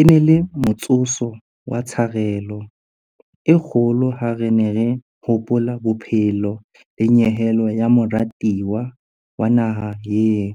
E ne e le motsotso wa tsharelo e kgolo ha re ne re hopola bophelo le nyehelo ya morati wa naha eo,